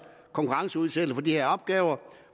konkurrenceudsættelse på de her opgaver